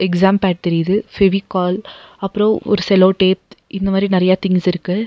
Exam pad தெரியுது ஃபெவிகால் அப்புறோ ஒரு செலோடேப் இந்த மாரி நறையா திங்ஸ் இருக்கு.